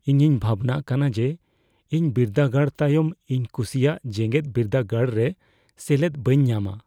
ᱤᱧᱤᱧ ᱵᱷᱟᱵᱽᱱᱟᱜ ᱠᱟᱱᱟ ᱡᱮ ᱤᱧ ᱵᱤᱨᱫᱟᱹᱜᱟᱲ ᱛᱟᱭᱚᱢ ᱤᱧ ᱠᱩᱥᱤᱭᱟᱜ ᱡᱮᱜᱮᱫ ᱵᱤᱨᱫᱟᱹᱜᱟᱲᱨᱮ ᱥᱮᱞᱮᱫᱚ ᱵᱟᱹᱧ ᱧᱟᱢᱟ ᱾